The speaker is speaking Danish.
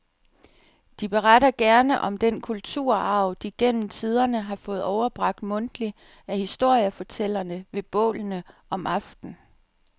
De beretter gerne om den kulturarv, de gennem tiderne har fået overbragt mundtligt af historiefortællerne ved bålene om aftenen.